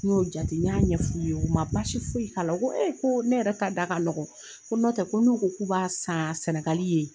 N y'o jate, n y'a ɲɛf'u ye. U ma baasi foyi k'a la. U ko ko ne yɛrɛ ka da ka nɔgɔn. Ko nɔtɛ ko n'u ko k'u b'a san Senegal ye